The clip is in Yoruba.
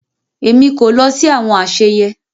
Èmi kò lọ sí àwọn àsèyé